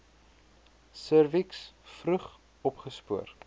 serviks vroeg opgespoor